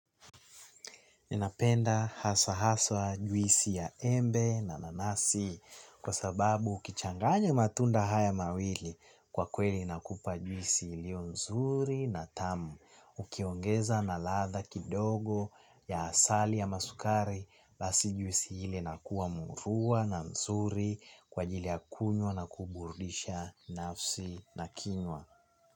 Ninapenda haswa haswa juisi ya embe na nanasi kwa sababu ukichanganya haya matunda mawili kwa kweli inakupa juisi iliyo nzuri na tamu. Ukiongeza na ladha kidogo ya asali ama sukari basi juisi ile inakuwa murua na nzuri kwa ajili ya kunywa na kuburudisha nafsi na kinywa.